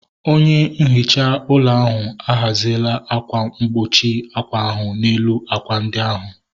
Onye nhicha ụlọ ahu a ghaziela akwa mkpuchi ákwà ahu n'elu ákwà ndị ahu